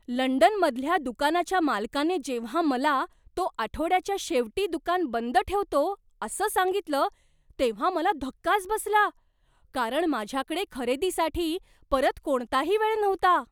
लंडनमधल्या दुकानाच्या मालकाने जेव्हा मला, तो आठवड्याच्या शेवटी दुकान बंद ठेवतो असं सांगितलं, तेव्हा मला धक्काच बसला, कारण माझ्याकडे खरेदीसाठी परत कोणताही वेळ नव्हता.